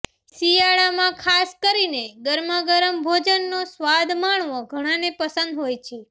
શિયાળામાં ખાસ કરીને ગરમા ગરમ ભોજનનો સ્વાદ માણવો ઘણાને પસંદ હોય છે